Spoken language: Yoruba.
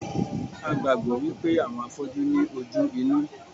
A gbàgbọ́ wípé àwọn afọ́jú ní ojú inú